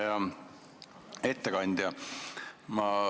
Hea ettekandja!